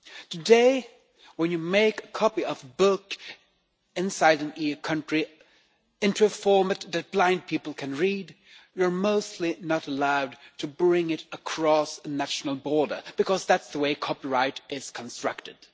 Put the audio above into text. Today when you make a copy of a book, in an EU country, into a format that blind people can read, you are mostly not allowed to bring it across a national border because that's the way copyright is constructed.